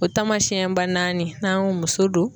O taamasiyɛn ba naani n'an y'o muso don.